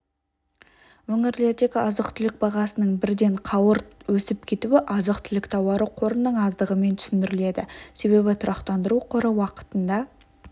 өңірлердегі азық-түлік бағасының бірден қауырт өсіп кетуі азық-түлік тауары қорының аздығымен түсіндіріледі себебі тұрақтандыру қоры уақытында